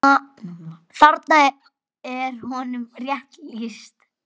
Þarna er honum rétt lýst.